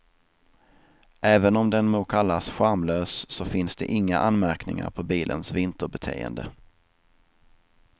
Även om den må kallas charmlös så finns det inga anmärkningar på bilens vinterbeteende.